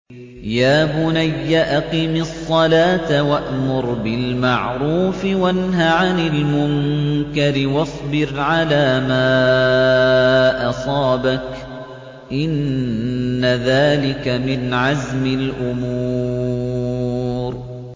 يَا بُنَيَّ أَقِمِ الصَّلَاةَ وَأْمُرْ بِالْمَعْرُوفِ وَانْهَ عَنِ الْمُنكَرِ وَاصْبِرْ عَلَىٰ مَا أَصَابَكَ ۖ إِنَّ ذَٰلِكَ مِنْ عَزْمِ الْأُمُورِ